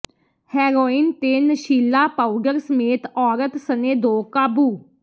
heroin ਤੇ ਨਸ਼ੀਲਾ powder ਸਮੇਤ ਔਰਤ ਸਣੇ ਦੋ ਕਾਬੂ